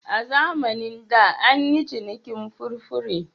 A zamanin da an yi cinikin furfure.